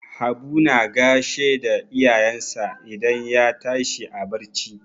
Habu na gashe da iyayensa idan ya tashi a barci.